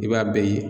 I b'a bɛɛ ye